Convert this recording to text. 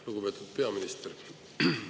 Lugupeetud peaminister!